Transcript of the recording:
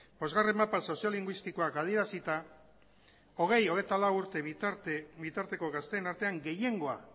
bosgarren mapa soziolinguistikoak adierazita hogei hogeita lau urte bitarteko gazteen artean gehiengoa